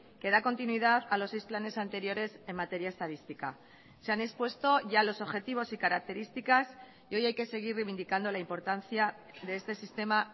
que da continuidad a los seis planes anteriores en materia estadística se han expuesto ya los objetivos y características y hoy hay que seguir reivindicando la importancia de este sistema